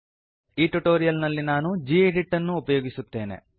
ಈ ಟ್ಯುಟೋರಿಯಲ್ ನಲ್ಲಿ ನಾನು ಗೆಡಿಟ್ ಅನ್ನು ಉಪಯೋಗಿಸುತ್ತೇನೆ